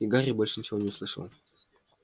и гарри больше ничего не услышал